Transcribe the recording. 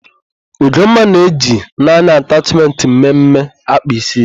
Ugomma na-eji naanị atachmentị mme mme akpa ísí ya.